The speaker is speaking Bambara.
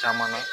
Caman